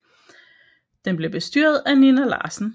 Den blev bestyret af Nina Larsen